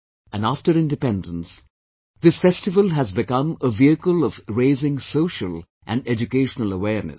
And after Independence, this festival has become a vehicle of raising social and educational awareness